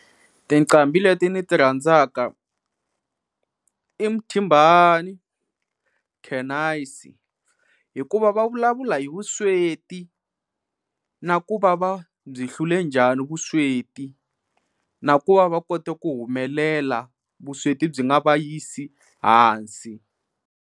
Tinqambi leti ni ti rhandzaka i Mthimbani hikuva va vulavula hi vusweti na ku va va byi hlule njhani vusweti na ku va va kota ku humelela vusweti byi nga va yisi ehansi.